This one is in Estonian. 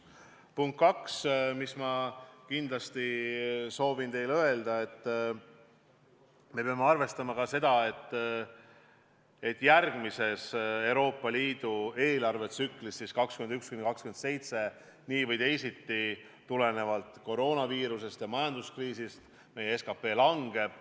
Teise punktina soovin ma teile kindlasti öelda, et me peame arvestama ka seda, et järgmises Euroopa Liidu eelarvetsüklis – see on aastateks 2021–2027 – meie SKP tulenevalt koroonaviirusest ja majanduskriisist langeb.